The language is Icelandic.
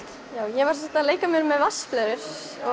ég var að leika mér með vatnsblöðrur